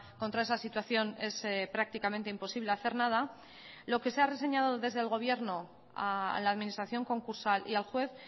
contra esa situación es prácticamente imposible hacer nada lo que se ha reseñado desde el gobierno a la administración concursal y al juez